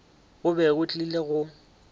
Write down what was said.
go be go tlile go